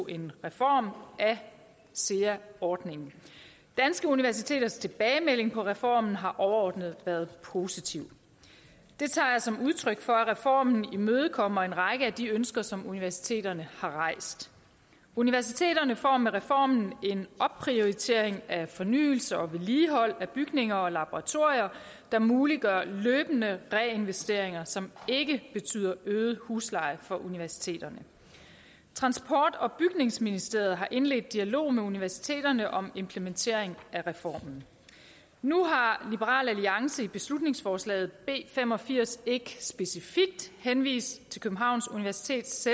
en reform af sea ordningen danske universiteters tilbagemelding på reformen har overordnet været positiv det tager jeg som udtryk for at reformen imødekommer en række af de ønsker som universiteterne har rejst universiteterne får med reformen en opprioritering af fornyelse og vedligehold af bygninger og laboratorier der muliggør løbende reinvesteringer som ikke betyder øget husleje for universiteterne transport og bygningsministeriet har indledt dialog med universiteterne om implementering af reformen nu har liberal alliance i beslutningsforslag b fem og firs ikke specifikt henvist til københavns universitets